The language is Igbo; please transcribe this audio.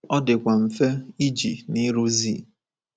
Ọ dịkwa mfe iji na ịrụzi.